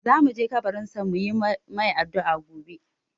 Za mu je kabarin sa mu yi mai addu'a gobe.